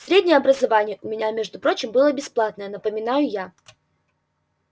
среднее образование у меня между прочим было бесплатное напоминаю я